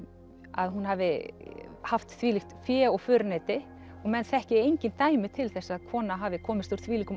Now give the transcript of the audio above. að hún hafi haft þvílíkt fé og föruneyti að menn þekki engin dæmi til þess að kona hafi komist úr þvílíkum